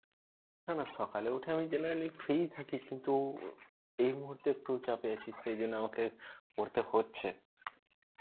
না না সকালে উঠে আমি generally free ই থাকি কিন্তু এই মুহুর্তে একটু চাপে আছি সেইজন্যে আমাকে করতে হচ্ছে.